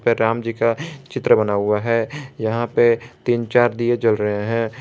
राम जी का चित्र बना हुआ है यहां पर तीन चार दिए जल रहे हैं।